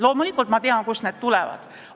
Loomulikult ma tean, kust need tulevad.